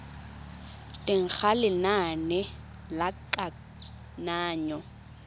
teng ga lenane la kananyo